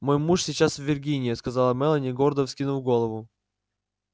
мой муж сейчас в виргинии сказала мелани гордо вскинув голову